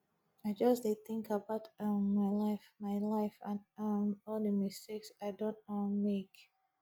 i just dey think about um my life my life and um all the mistake i don um make